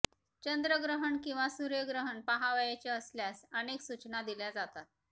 चंद्र ग्रहण किंवा सूर्य ग्रहण पहावयाचे असल्यास अनेक सूचना दिल्या जातात